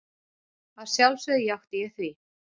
Að sjálfsögðu játti ég því.